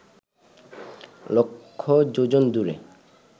লক্ষ যোজন দূরে